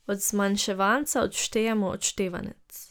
Od zmanjševanca odštejemo odštevanec.